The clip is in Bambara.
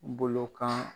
Bolo kan